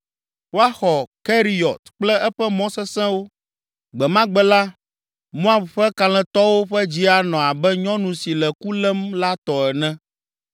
Woaxɔ Keriyɔt kple eƒe mɔ sesẽwo. Gbe ma gbe la, Moab ƒe Kalẽtɔwo ƒe dzi anɔ abe nyɔnu si le ku lém la tɔ ene.